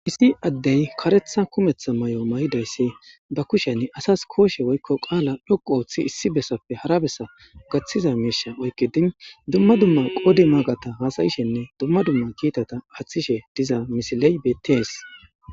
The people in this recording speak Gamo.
Issi addey karetha kumetha may7o may7idayssi ba kusheni asas kooshe woykko qaala dhoqu ooththi issi bessappe hara bessa gaththiza miisha oykke din dumma dumma qodi maagata haasayishenne dumma dumma kiitata aaththishe diza misiley bettees.